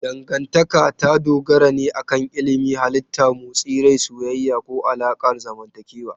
Dangantaka ta dogara ne akan ilimin halitta, motsin rai, soyayya, ko alaƙar zamantakewa.